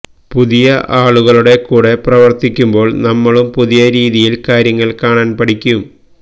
പുതിയ ആളുകളുടെ കൂടെ പ്രവർത്തിക്കുമ്പോൾ നമ്മളും പുതിയ രീതിയിൽ കാര്യങ്ങൾ കാണാൻ പഠിക്കും